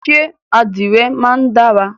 Ṣẹ́ àdìrẹ máa ń dára?